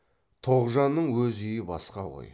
тоғжанның өз үйі басқа ғой